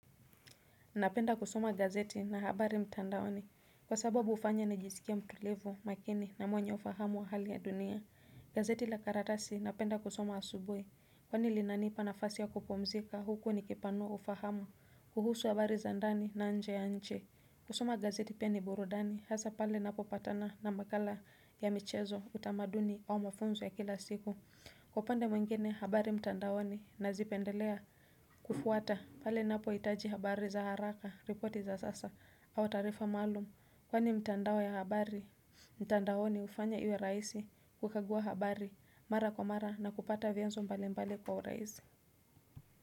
Napenda kusoma gazeti na habari mtandaoni kwa sababu hufanya nijisikie mtulivu makini na mwenye ufahamu wa hali ya dunia gazeti la karatasi napenda kusoma asubuhi kwani linanipa nafasi ya kupumzika huko nikipanua ufahamu kuhusu habari za ndani na nje ya nchi. Kusoma gazeti pia ni burudani hasa pale napo patana na makala ya michezo utamaduni au mafunzo ya kila siku Kwa upande mwengine habari mtandaoni nazipendelea kufuata pale napohitaji habari za haraka repoti za sasa au taarifa maalum kwani mtandao ya habari mtandaoni hufanya iwe rahisi kukagua habari mara kwa mara na kupata vianzo mbali mbali kwa urahisi.